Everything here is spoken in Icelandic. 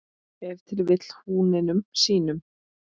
Ef til vill húninum sínum?